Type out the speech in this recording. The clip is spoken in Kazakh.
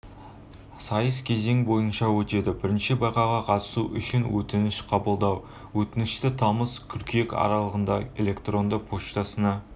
сайыс кезең бойынша өтеді бірінші байқауға қатысу үшін өтініш қабылдау өтінішті тамыз қыркүйек аралығында электронды поштасына